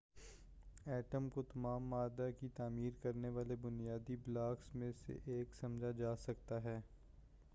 atom کو تمام مادہ کی تعمیر کرنے والے بنیادی بلاکس میں سے ایک سمجھا جا سکتا ہے